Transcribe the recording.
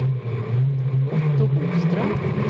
Otto Boström